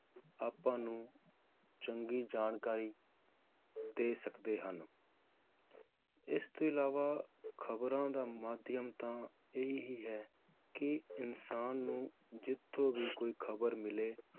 ਆਪਾਂ ਨੂੰ ਚੰਗੀ ਜਾਣਕਾਰੀ ਦੇ ਸਕਦੇ ਹਨ ਇਸ ਤੋਂ ਅਲਾਵਾ ਖਬਰਾਂ ਦਾ ਮਾਧਿਅਮ ਤਾਂ ਇਹ ਹੀ ਹੈ ਕਿ ਇਨਸਾਨ ਨੂੰ ਜਿਥੋਂ ਵੀ ਕੋਈ ਖਬਰ ਮਿਲੇ